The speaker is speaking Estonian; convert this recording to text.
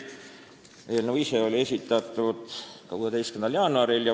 Eelnõu ise oli esitatud 16. jaanuaril.